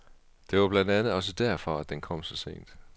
Det var blandt andet også derfor, at den kom så sent.